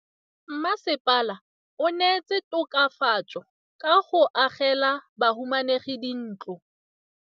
Mmasepala o neetse tokafatsô ka go agela bahumanegi dintlo.